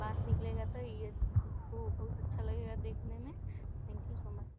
पास में निकलेगा तो ये ए बहुत अच्छा लगेगा देखने में। Thank you so much.